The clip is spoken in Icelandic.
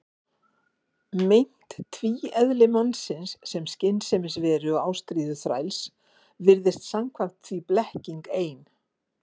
Meint tvíeðli mannsins, sem skynsemisveru og ástríðuþræls, virðist samkvæmt því blekking ein.